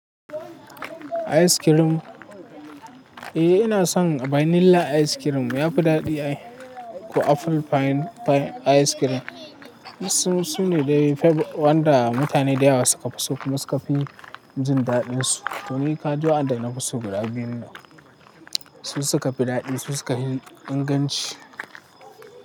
Ice cream. Eh ina son vanilla ice cream yafi daɗi ko apple pie ice cream. Su ne wanda mutane da yawa suka fi so kuma suka fi jin daɗinsu. To ni kadua waɗanda na fi so guda biyu ne su suka fi daɗi su suka fi inganci.